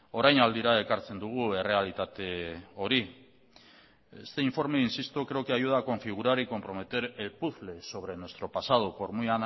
orainaldira ekartzen dugu errealitate hori este informe insisto creo que ayuda a configurar y comprometer el puzzle sobre nuestro pasado por muy